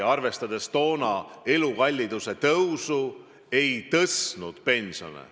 Arvestades toonast elukalliduse tõusu, võib öelda, et see kindlasti ei tõstnud pensione.